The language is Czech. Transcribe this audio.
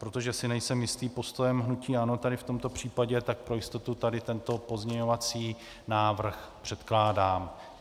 Protože si nejsem jistý postojem hnutí ANO tady v tomto případě, tak pro jistotu tady tento pozměňovací návrh předkládám.